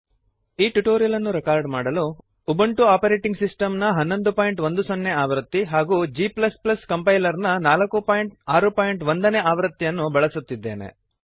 ಈ ಟ್ಯುಟೋರಿಯಲ್ ಅನ್ನು ರೆಕಾರ್ಡ್ ಮಾಡಲು ಉಬುಂಟು ಆಪರೇಟಿಂಗ್ ಸಿಸ್ಟಮ್ ನ 1110 ಆವೃತ್ತಿ ಹಾಗೂ g ಕಂಪೈಲರ್ನ 461 ನೇ ಆವೃತ್ತಿಯನ್ನು ಬಳಸುತ್ತಿದ್ದೇನೆ